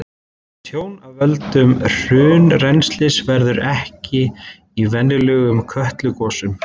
Tjón af völdum hraunrennslis verður ekki í venjulegum Kötlugosum.